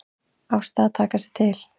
Ásta að taka sig til.